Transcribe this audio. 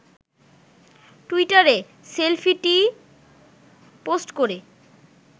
টুইটারে সেলফিটি পোস্ট করে